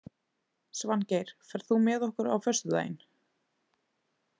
Svangeir, ferð þú með okkur á föstudaginn?